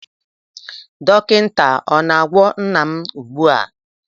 Dọkịta ọ na-agwọ nna m ugbu a?